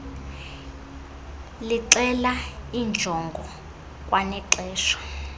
lixela iinjongo kwanexesha